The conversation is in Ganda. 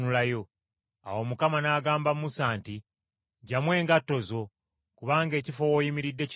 “Awo Mukama n’agamba Musa nti, ‘Gyamu engatto zo, kubanga ekifo w’oyimiridde kitukuvu.